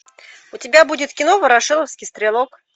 у тебя будет кино ворошиловский стрелок